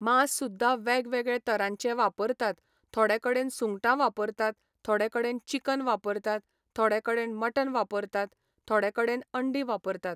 मांस सुद्दां वेग वेगळे तरांचे वापरतात थोडे कडेन सुंगटां वापरतात, थोडे कडेन चिकन वापरतात, थोडे कडेन मटण वापरतात, थोडे कडेन अंडी वापरतात.